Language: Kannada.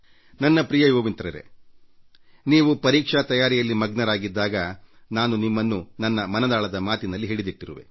ನನ್ನ ಪ್ರಿಯ ಯುವ ಮಿತ್ರರೇ ನೀವು ಪರೀಕ್ಷಾ ತಯಾರಿಯಲ್ಲಿ ಮಗ್ನರಾಗಿದ್ದಾಗ ನಾನು ನಿಮ್ಮನ್ನು ನನ್ನ ಮನದಾಳದ ಮಾತಿನಲ್ಲಿ ಹಿಡಿದಿಟ್ಟಿರುವೆ